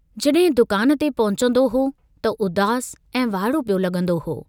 जडहिं दुकान ते पहुचन्दो हो त उदास ऐं वाइड़ो पियो लगुंदो हो।